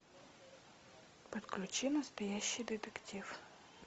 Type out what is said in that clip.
подключи настоящий детектив